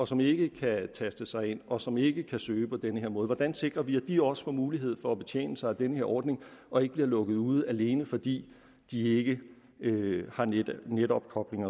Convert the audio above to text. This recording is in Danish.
som ikke kan taste sig ind og som ikke kan søge på den her måde hvordan sikrer vi at de også får mulighed for at betjene sig af den her ordning og ikke bliver lukket ude alene fordi de ikke har netopkobling